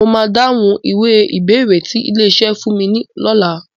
Mo máa dáhùn ìwé ìbéèrè tí ilé-iṣẹ́ fún mi lọ́la.